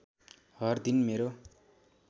हर दिन मेरो